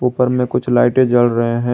ऊपर में कुछ लाइटें जल रहे हैं।